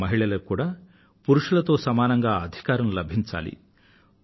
మన మహిళలకూ కూడా పురుషులతో సమానంగా అధికారం లభించాలి